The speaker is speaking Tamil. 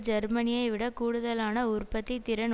ஜேர்மனியை விடக் கூடுதாலன உற்பத்தி திறன்